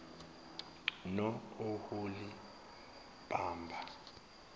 nooholibhama